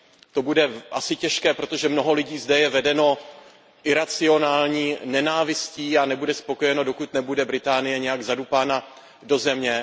To bude asi těžké, protože mnoho lidí zde je vedeno iracionální nenávistí a nebude spokojeno, dokud nebude Británie nějak zadupána do země.